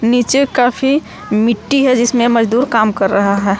नीचे काफी मिट्टी है जिसमें मजदूर काम कर रहा है।